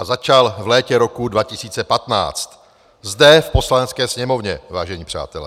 A začal v létě roku 2015, zde v Poslanecké sněmovně, vážení přátelé.